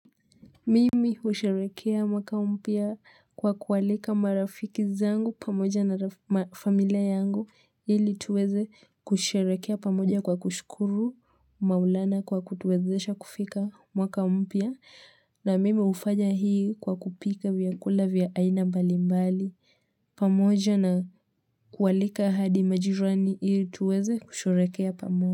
Mimi husherekea mwaka mpya kwa kualika marafiki zangu pamoja na familia yangu ili tuweze kusherekea pamoja kwa kushukuru maulana kwa kutuwezesha kufika mwaka mpya na mimi hufanya hii kwa kupika vyakula vya aina mbalimbali pamoja na kualika hadi majirani ili tuweze kusherekea pamoja.